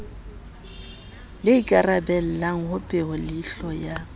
le ikarabellang ho peholeihlo ya